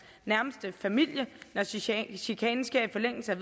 nærmeste familie når chikanen chikanen sker i forlængelse af